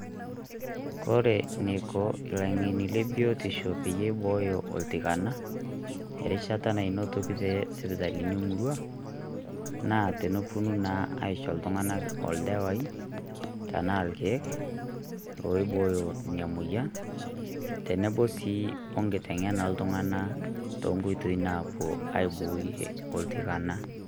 Kore neiko laing'eni le biotisho peyie eibooyo oltikana erishata nanotoki te sipita emurrua, naa tenepoluu naa ashoo ltung'anak oldewai tana lkiek oibooyo nia moyian teneboo sii okiteng'ena oltung'anak to nkotoi napoo aibooyie oltikana.